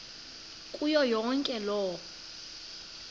kuyo yonke loo